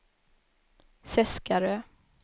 Seskarö